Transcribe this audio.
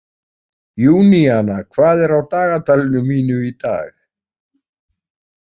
Júníana, hvað er á dagatalinu mínu í dag?